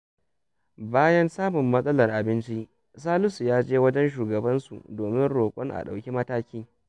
Bayan samun matsalar abinci, Salisu ya je wajen shugabansu domin roƙon a ɗauki mataki.